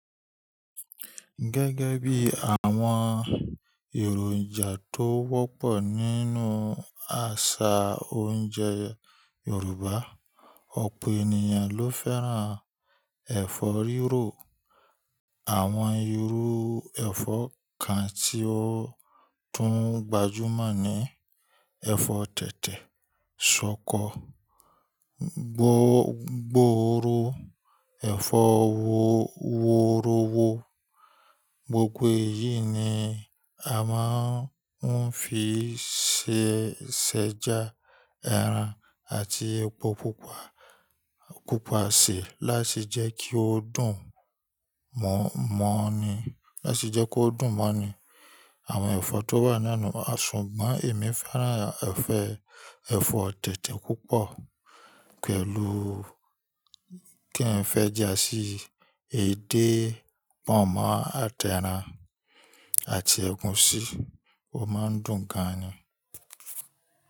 Gẹ́gẹ́ bí àwọn èròjà tó wọ́pọ̀ nínú àṣà oúnjẹ Yorùbá, ọ̀pọ̀ ènìyàn ló fẹ́ràn ẹ̀fọ́ rírò. Àwọn irú ẹ̀fọ́ kan tí ó tún gbajúmọ̀ ni ẹ̀fọ́ tẹ̀tẹ̀, ṣọkọ, gbòòrò, ẹ̀fọ́ wọ́rọ́wọ́. Gbogbo èyí ni a máa ń fi ṣẹ ṣẹjá ẹran àti epo pupa, pupa sí láti jẹ́ kí ó dùn mọ́--mọ́ ni, láti jẹ́ kí ó dùn mọ́ ni. Àwọn ẹ̀fọ́ tó wà naa nú ṣùgbọ́n èmi fẹ́ràn ẹ̀fọ́, ẹ̀fọ́ tẹ̀tẹ̀ púpọ̀ pẹ̀lú kí ǹ fẹ́ já sí èdè pọ̀nmọ́ àti ẹran àti ẹ̀gúsí, ó máa ń dùn gan ni.